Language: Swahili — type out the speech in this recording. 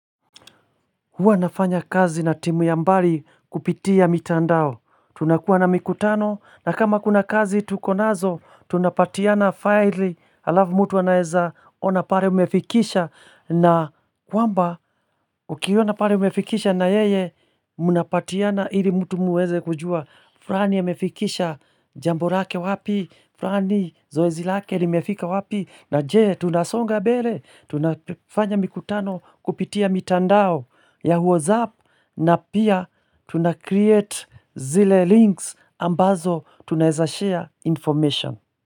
Huwa nafanya kazi na timu ya mbali kupitia mitandao. Tunakuwa na mikutano na kama kuna kazi tukonazo tunapatiana file alafu mtu wanaeza ona pale umefikisha na kwamba ukiwa na pale umefikisha na yeye mnapatiana ili mtu muweze kujua. Flani amefikisha jambo lake wapi flani zoezi lake limefika wapi na jee tunasonga mbele tunafanya mikutano kupitia mitandao ya Whatsapp na pia tunacreate zile links ambazo tunaezashare information.